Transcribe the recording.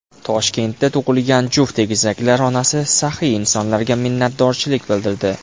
Toshkentda tug‘ilgan juft egizaklar onasi saxiy insonlarga minnatdorchilik bildirdi.